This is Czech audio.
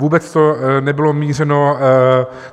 Vůbec to nebylo mířeno...